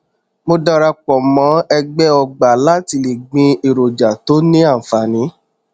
mo darapọ mọ ẹgbẹ ọgbà láti le gbin èròjà tó ní ànfààní